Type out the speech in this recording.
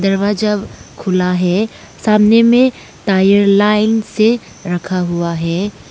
दरवाजा खुला है। सामने में टायर लाइन से रखा हुआ है।